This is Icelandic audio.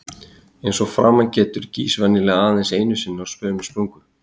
Eins og að framan getur, gýs venjulega aðeins einu sinni á sömu sprungu.